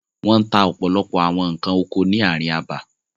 Wọ́n ta ọ̀pọ̀lọpọ̀ àwọn nǹkan oko ni ààrin abà.